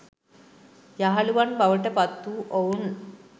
යහළුවන් බවට පත් වූ ඔවුන්